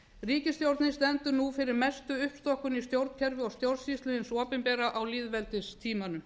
ríkisstjórnin stendur nú fyrir mestu uppstokkun í stjórnkerfi og stjórnsýslu hins opinbera á lýðveldistímanum